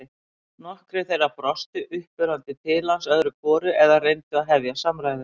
Nokkrir þeirra brostu uppörvandi til hans öðru hvoru eða reyndu að hefja samræður.